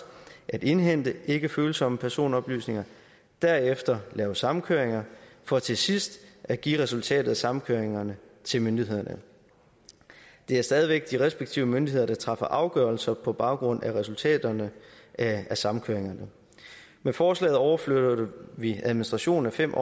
at indhente ikkefølsomme personoplysninger derefter lave samkøringer for til sidst at give resultatet af samkøringerne til myndighederne det er stadig væk de respektive myndigheder der træffer afgørelse på baggrund af resultaterne af samkøringerne med forslaget overflytter vi administrationen af fem